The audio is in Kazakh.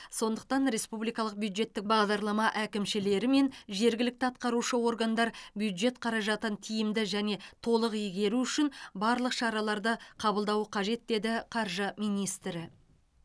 сондықтан республикалық бюджеттік бағдарлама әкімшілері мен жергілікті атқарушы органдар бюджет қаражатын тиімді және толық игеру үшін барлық шараларды қабылдауы қажет деді қаржы министрі